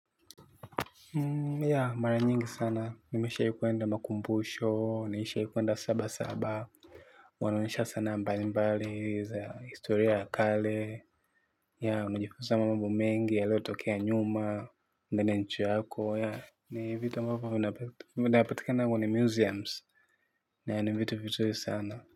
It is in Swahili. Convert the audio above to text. Yea mara nyingi sana, nimeshawai kuenda makumbusho, nishai kwenda sabasaba, wanaonyesha sanaa mbalimbali, za historia ya kale, yea unajifunza mambo mengi yaliotokea nyuma, unaende nchi yako yea. Ni vitu ambavo vinapatika kwenye museums. Ni vitu vitu sana.